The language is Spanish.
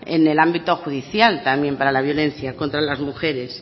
en el ámbito judicial también para la violencia contra las mujeres